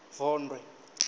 vondwe